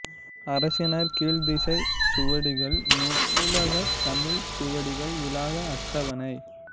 அரசினர் கீழ்த்திசைச் சுவடிகள் நூலகத் தமிழ்ச் சுவடிகள் விளக்க அட்டவணை